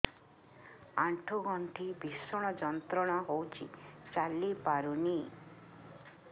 ଆଣ୍ଠୁ ଗଣ୍ଠି ଭିଷଣ ଯନ୍ତ୍ରଣା ହଉଛି ଚାଲି ପାରୁନି